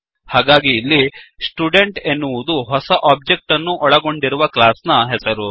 ಹಾಗಾಗಿ ಇಲ್ಲಿStudent ಎನ್ನುವುದು ಹೊಸ ಒಬ್ಜೆಕ್ಟ್ ಅನ್ನು ಒಳಗೊಂಡಿರುವ ಕ್ಲಾಸ್ ನ ಹೆಸರು